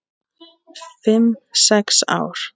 Fimm, sex ár?